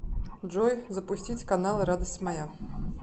джой запустить каналы радость моя